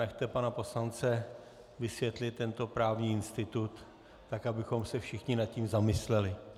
Nechte pana poslance vysvětlit tento právní institut tak, abychom se všichni nad tím zamysleli.